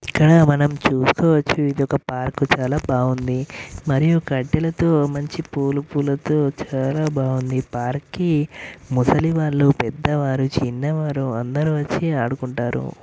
ఇక్కడ మనం చూస్కోవచ్చు ఇదొక ప్రాకు చాలా బావుంది మరియు గడ్డిలతో మంచి పూల పూల తో చాలా బావుంది. పార్క్ కి ముసలి వాలు పెద్ధ వారు. చిన్న వారు. అందరూ వచ్చి ఆడుకుంటారు..